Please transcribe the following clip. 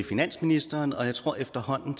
finansministeren og jeg tror efterhånden